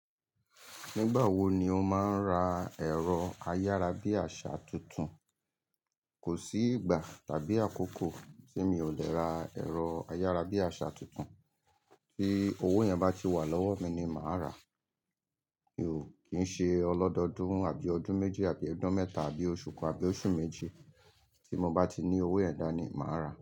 Nígbà wo ni o máa ń ra ẹ̀rọ ayárabíàṣà tuntun? Kò sí ìgbà tàbí àkókò tí mi ò lè ra ẹ̀rọ ayárabíàṣà tuntun. Bí owó yẹn bá ti wà lọ́wọ́ mi ni màá rà. Mi ò kí ń ṣe ọlọ́dọọdún mo àbí ọdún méji àbí ọdún mẹ́ta àbí oṣù kan àbí oṣù méjì, tí mo bá ti ní owó yẹ̀n dá ni màá rà.